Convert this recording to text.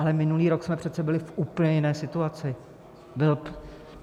Ale minulý rok jsme přece byli v úplně jiné situaci.